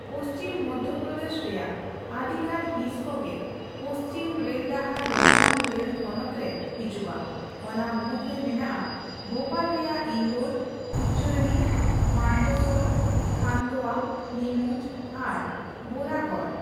ᱯᱚᱪᱷᱤᱢ ᱯᱚᱫᱷᱳᱯᱨᱚᱫᱮᱥ ᱨᱮᱭᱟᱜ ᱟᱹᱰᱤ ᱜᱟᱱ ᱦᱤᱥ ᱠᱚᱜᱮ ᱯᱚᱪᱷᱤᱢ ᱨᱮᱞᱰᱟᱦᱟᱨ ᱨᱚᱛᱞᱟᱢ ᱨᱮᱞ ᱛᱷᱚᱱᱚᱛᱷ ᱨᱮ ᱦᱤᱡᱩᱜ ᱟ, ᱚᱱᱟ ᱢᱩᱫ ᱨᱮ ᱢᱮᱱᱟᱜ ᱟ ᱵᱷᱳᱯᱟᱞ ᱨᱮᱭᱟᱜ ᱤᱱᱫᱳᱨ, ᱩᱡᱡᱚᱭᱚᱱᱤ, ᱢᱟᱱᱫᱚᱥᱳᱨ, ᱠᱷᱟᱱᱫᱳᱭᱟ, ᱱᱤᱢᱩᱡ ᱟᱨ ᱵᱳᱨᱟᱜᱚᱲ ᱾